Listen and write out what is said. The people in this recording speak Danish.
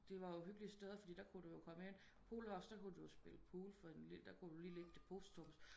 Det var jo hyggelige steder fordi der kunne du jo komme ind pool house der kunne du jo spille pool for en lille der kunne du jo lige ligge depositummet